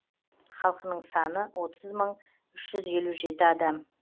халқының саны отыз мың үш жүз елу жеті адам